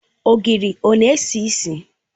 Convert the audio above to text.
Ogiri ọ na-esi isi?